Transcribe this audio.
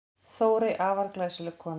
Þórey, afar glæsileg kona.